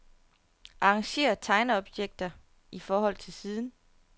Arrangér tegneobjekter i forhold til siden.